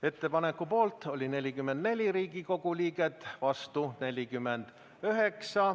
Ettepaneku poolt oli 44 Riigikogu liiget, vastu 49.